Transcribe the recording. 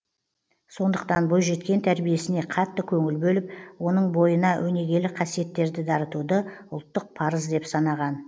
сондықтан бойжеткен тәрбиесіне қатты көңіл бөліп оның бойына өнегелі қасиеттерді дарытуды ұлттық парыз деп санаған